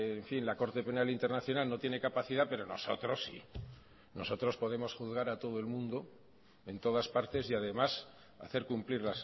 en fin la corte penal internacional no tiene capacidad pero nosotros sí nosotros podemos juzgar a todo el mundo en todas partes y además hacer cumplir